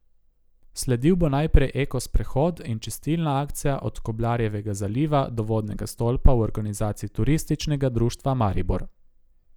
Sledil bo najprej eko sprehod in čistilna akcija od Koblarjevega zaliva do vodnega stolpa v organizaciji Turističnega društva Maribor.